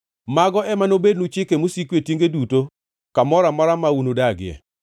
“ ‘Mago ema nobednu chike mosiko e tienge duto, kamoro amora ma unudagie.